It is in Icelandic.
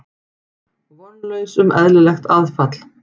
Vonlaus um eðlilegt aðfall.